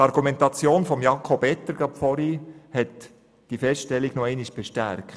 Die vorhin von Jakob Etter eingebrachte Argumentation hat diese Feststellung noch einmal bestärkt.